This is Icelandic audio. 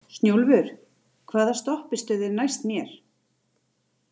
Snjólfur, hvaða stoppistöð er næst mér?